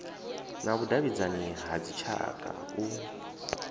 na vhudavhidzani ha dzitshaka u